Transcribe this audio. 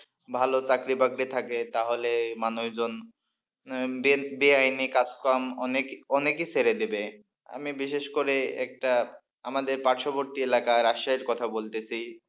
ভালো চাকরি বাকরি থাকে তাহলে মানুষজন বেআইনি কাজকম অনেক অনেকেই ছেড়ে দেবে আমি বিশেষ করে একটা আমাদের পার্শ্ববর্তী এলাকার রাজশাহীর কথা বলতেছি।